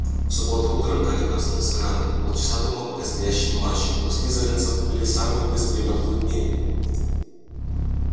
в субботу утром гарри проснулся рано и полчаса думал о предстоящем матче у слизеринцев были самые быстрые метлы в мире